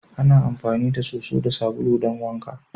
Ana amfani da soso da sabulu don wanka.